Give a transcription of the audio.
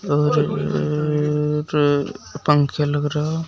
और रर पंखे लग रहा--